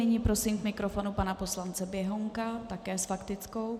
Nyní prosím k mikrofonu pana poslance Běhounka také s faktickou.